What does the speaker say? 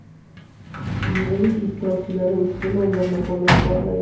Yig‘ilish ishtirokchilari ushbu nomzodni qo‘llab-quvvatlagan.